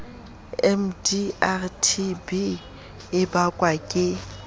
mdr tb e bakwa ke